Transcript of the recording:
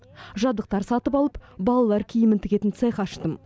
жабдықтар сатып алып балалар киімін тігетін цех аштым